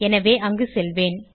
எனவே அங்கு செல்வோம்